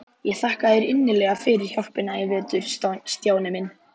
Ég þakka þér innilega fyrir hjálpina í vetur, Stjáni minn.